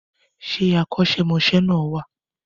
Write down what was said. Ṣé akọ́ṣẹ́mọṣẹ́ náà wà?